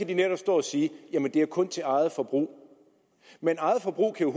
de netop stå at sige jamen det er kun til eget forbrug men eget forbrug kan